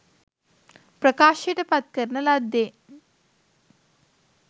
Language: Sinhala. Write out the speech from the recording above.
ප්‍රකාශයට පත් කරන ලද්දේ